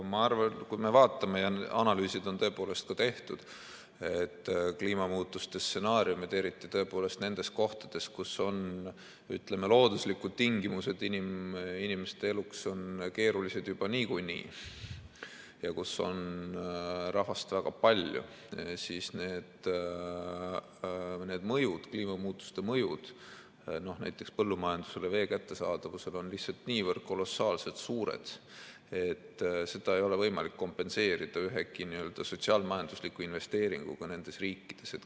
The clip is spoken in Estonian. Ma arvan, et kui me vaatame ja analüüsid on tehtud, et kliimamuutuste stsenaariumid, eriti nendes kohtades, kus looduslikud tingimused inimeste eluks on keerulised juba niikuinii ja kus on rahvast väga palju, siis need kliimamuutuste mõjud näiteks põllumajandusele, vee kättesaadavusele on lihtsalt niivõrd kolossaalselt suured, et seda ei ole võimalik kompenseerida ühegi sotsiaal-majandusliku investeeringuga nendes riikides.